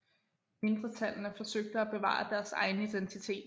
Mindretallene forsøgte at bevare deres egen identitet